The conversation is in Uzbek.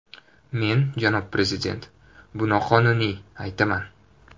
Men, janob prezident, bu noqonuniy, aytaman.